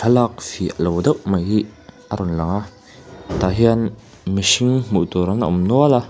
thlalâk fiah lo deuh mai hi a rawn lang a tah hian mihring hmuh tûr an awm nual a.